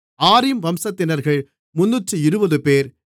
ஆரிம் வம்சத்தினர்கள் 320 பேர்